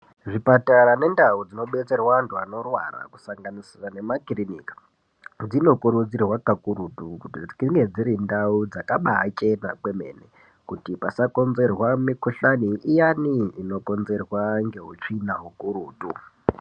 Zvipatara nendau dzinobetserwa antu anorwara kusanganisira nemakirinika, dzinokurudzirwa kakurutu kuti dzinge dziri ndau dzakabachena kwemene kuti pasakonzerwa mikuhlani iyani inokonzerwa ngeutsvina ukurutu.